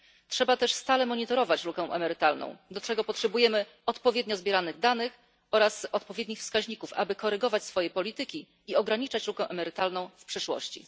Trzeba też stale monitorować lukę emerytalną, do czego potrzebujemy odpowiednio zbieranych danych oraz odpowiednich wskaźników, aby korygować swoje polityki i ograniczać lukę emerytalną w przyszłości.